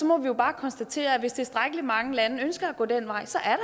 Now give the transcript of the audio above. må jo bare konstatere at hvis tilstrækkelig mange lande ønsker at gå den vej så